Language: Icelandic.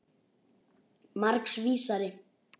Margs vísari.